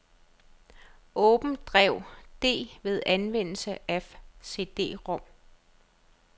Åbn drev D ved anvendelse af cd-rom.